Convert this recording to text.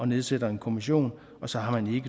nedsætter en kommission og så har man ikke